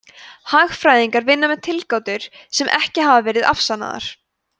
hagfræðingar vinna með tilgátur sem ekki hafa verið afsannaðar